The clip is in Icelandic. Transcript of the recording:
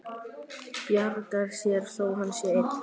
Bjargar sér þó að hann sé einn.